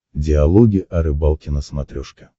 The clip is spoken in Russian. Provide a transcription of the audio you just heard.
диалоги о рыбалке на смотрешке